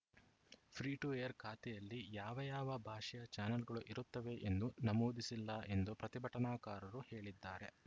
free to air ಖಾತೆಯಲ್ಲಿ ಯಾವ ಯಾವ ಭಾಷೆಯ ಚಾಲನ್‌ಗಳು ಇರುತ್ತವೆ ಎಂದು ನಮೂದಿಸಿಲ್ಲ ಎಂದು ಪ್ರತಿಭಟನಾಕಾರರು ಹೇಳಿದ್ದಾರೆ